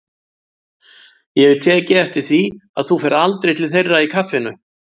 Ég hef tekið eftir því að þú ferð aldrei til þeirra í kaffinu.